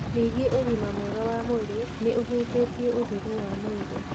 Ningĩ ũgima mwega wa mwĩrĩ nĩ ũhutĩtie ũtheru wa mwĩrĩ.